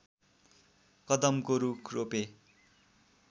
कदमको रूख रोपे